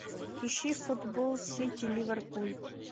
ищи футбол сити ливерпуль